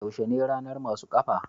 yaushe ne ranar masu kafa?